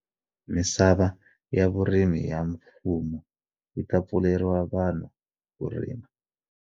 misava ya vurimi ya mfumo yi ta pfuleriwa vanhu ku rima.